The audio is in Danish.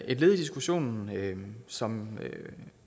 et led i diskussionen som